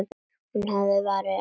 Hún hafði varann á sér.